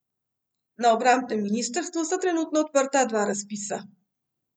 Na obrambnem ministrstvu sta trenutno odprta dva razpisa.